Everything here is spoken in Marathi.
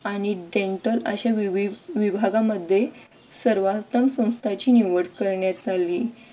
आणि dental अश्या विभागामध्ये सर्वोत्तम संस्थानची निवड करण्यात आली.